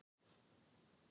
eftir því sem ég best man.